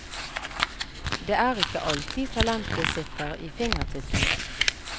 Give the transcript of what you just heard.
Det er ikke alltid talentet sitter i fingertuppene.